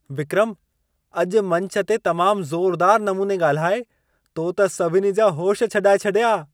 विक्रम! अॼु मंच ते तमाम ज़ोरुदारु नमूने ॻाल्हाए, तो त सभिनी जा होश छॾाए छॾिया।